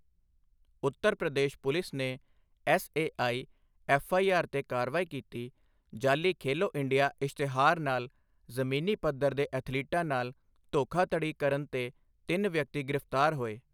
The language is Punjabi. ਉੱਤਰ ਪ੍ਰਦੇਸ਼ ਪੁਲਿਸ ਨੇ ਐੱਸਏਆਈ ਐੱਫਆਈਆਰ ਤੇ ਕਾਰਵਾਈ ਕੀਤੀ, ਜਾਅਲੀ ਖੇਲੋ ਇੰਡੀਆ ਇਸ਼ਤਿਹਾਰ ਨਾਲ ਜ਼ਮੀਨੀ ਪੱਧਰ ਦੇ ਅਥਲੀਟਾਂ ਨਾਲ ਧੋਖਾਧੜੀ ਕਰਨ ਤੇ ਤਿੰਨ ਵਿਅਕਤੀ ਗ੍ਰਿਫ਼ਤਾਰ ਹੋਏ।